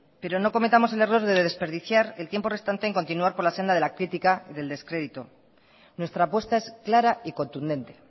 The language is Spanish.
pero no cometamos el error de desperdiciar el tiempo restante en continuar por la senda de la crítica y del descrédito nuestra apuesta es clara y contundente